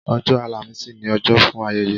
Ọjọ́ àlàmísì ni ọjọ́ fún ayẹyẹ